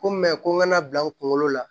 Ko ko n kana bila n kunkolo la